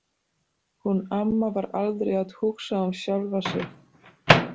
Hún amma var aldrei að hugsa um sjálfa sig.